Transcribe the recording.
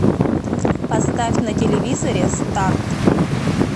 поставь на телевизоре старт